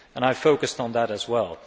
I focused on that as well.